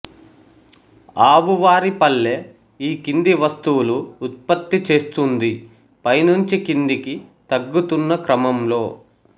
ఆవువారిపల్లె ఈ కింది వస్తువులు ఉత్పత్తి చేస్తోంది పై నుంచి కిందికి తగ్గుతున్న క్రమంలో